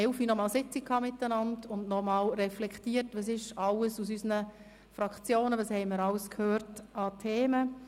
Wir haben heute um 11 Uhr eine Sitzung durchgeführt und noch einmal reflektiert, was wir alles vonseiten der Fraktionen gehört haben.